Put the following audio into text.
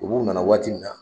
U b'u na na waati min na